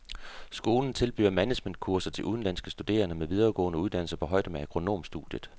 Skolen tilbyder managementkurser til udenlandske studerende med videregående uddannelser på højde med agronomstudiet.